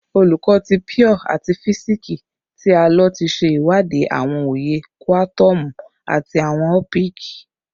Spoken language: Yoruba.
Olukọ ti Pure ati Fisiksi ti a lo ti ṣewadii awọn oye kuatomu ati awọn opiki